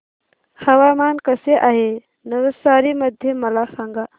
हवामान कसे आहे नवसारी मध्ये मला सांगा